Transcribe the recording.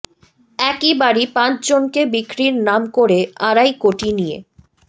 একই বাড়ি পাঁচ জনকে বিক্রির নাম করে আড়াই কোটি নিয়ে